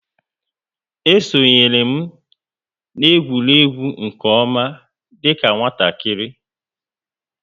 E sonyeere m na egwuregwu nke oma dika nwatakịrị